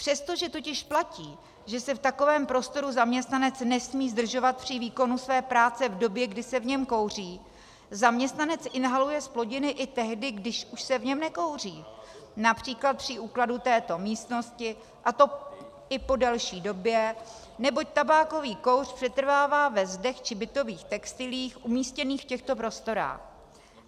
Přestože totiž platí, že se v takovém prostoru zaměstnanec nesmí zdržovat při výkonu své práce v době, kdy se v něm kouří, zaměstnanec inhaluje zplodiny i tehdy, když už se v něm nekouří, například při úklidu této místnosti, a to i po delší době, neboť tabákový kouř přetrvává ve zdech či bytových textiliích umístěných v těchto prostorách.